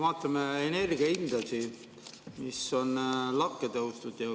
Vaatame energia hindasid, mis on lakke tõusnud!